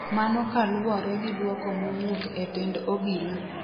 mano kaluwore gi duoko mowuok e tend obila